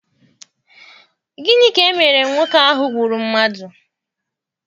Gịnị ka emere nwoke ahụ gbụrụ mmadụ?